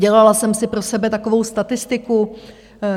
Dělala jsem si pro sebe takovou statistiku.